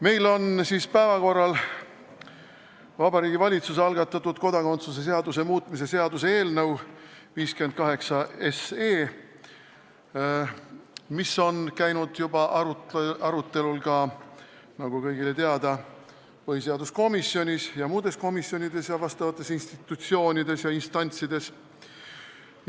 Meil on siis päevakorras Vabariigi Valitsuse algatatud kodakondsuse seaduse muutmise seaduse eelnõu 58, mis on olnud juba arutelul, nagu kõigile teada, põhiseaduskomisjonis ja muudes komisjonides, samuti asjaomastes institutsioonides ja instantsides.